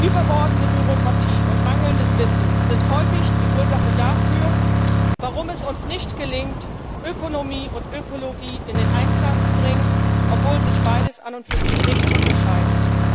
Überbordende Bürokratie und mangelndes Wissen sind häufig die Ursache dafür, warum es uns nicht gelingt, Ökonomie und Ökologie in Einklang zu bringen, obwohl sich beides an und für sich nicht unterscheidet.